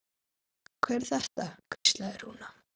Hver er þetta? hvíslaði Rúna.